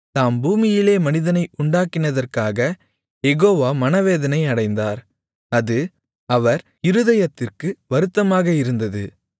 தாம் பூமியிலே மனிதனை உண்டாக்கினதற்காகக் யெகோவா மனவேதனை அடைந்தார் அது அவர் இருதயத்திற்கு வருத்தமாக இருந்தது